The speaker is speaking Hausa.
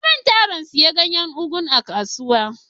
Na manta ban siya ganyen " ugu" a kasuwa ba.